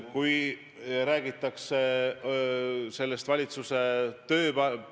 Mõte on endiselt selge: peaministritool on teile niivõrd armas.